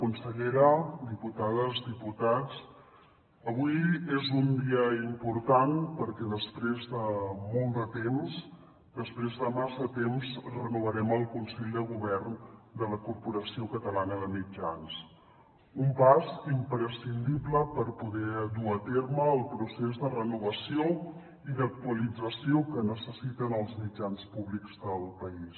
consellera diputades diputats avui és un dia important perquè després de molt de temps després de massa temps renovarem el consell de govern de la corporació catalana de mitjans un pas imprescindible per poder dur a terme el procés de renovació i d’actualització que necessiten els mitjans públics del país